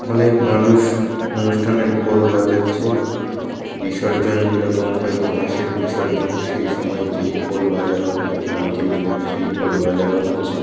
অনেক মানুষ অনুষ্ঠানে ঢোল বাজাচ্ছে বিসর্জন যেরকম হয় গণেশের বিসর্জন সেই সময় যেই ঢোল বাজানো হয়অনেকে মিলে সেই ঢোল বাজানো হচ্ছে।